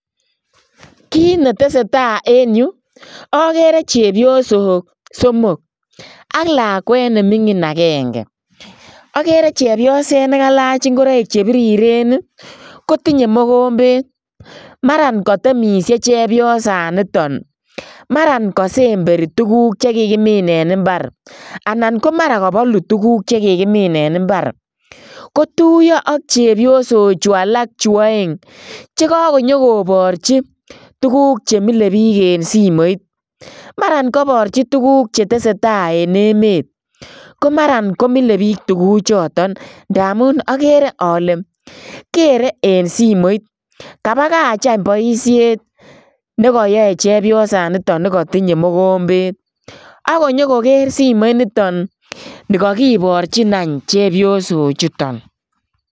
Kiit ne tesetai en yu, akere chepyosok somok, ak lakwet ne mining akenge, akere chepyoset ne kalach ingoroik che biriren ii, kotinye mokombet, maran katemisie chepyosaniton, maran kasemberi tukuk che kikimin en imbar anan ko mara kabalu tukuk che kikimin en imbar, kotuiyo ak chepyosochu alak chu aeng, che kakonyokoborchi tukuk che mile biik en simoit, maran kaborchi tukuk che tesetai en emet ko maran ko mile biik tukuchuton ndamun akere ale, kere en simoit. Kabakach any boisiet ne koyoe chepyosaniton ne katinye mokombet, ak nyo koker simoit niton ne kakiborchin any chepyosochuton.